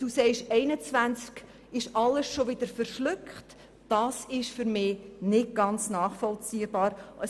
Etter sagt, im Jahr 2021 seien diese zusätzlichen Mittel bereits im Budget absorbiert, was für mich nicht nachvollziehbar ist.